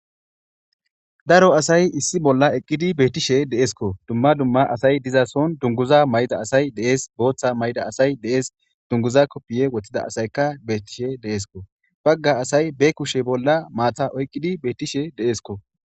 daro asay issi bolla eqqidi beettishe deesko dumma dumma asay diza son dunguza may7da asay dees booththa may7da asay dees dunguza koppiye woththida asayka beettishe deesko bagga asay be kushe bolla maatha oyqqidi beettishe deesko